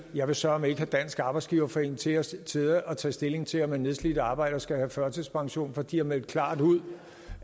jeg vil søreme ikke have dansk arbejdsgiverforening til at sidde og tage stilling til om en nedslidt arbejder skal have førtidspension for de har meldt klart ud